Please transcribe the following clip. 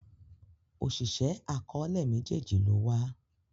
Oṣiṣẹ akọọlẹ méjèjì ló wà.